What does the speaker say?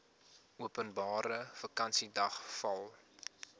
openbare vakansiedag val